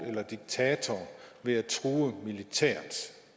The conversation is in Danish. eller diktator ved at true militært